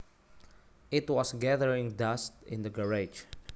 It was gathering dust in the garage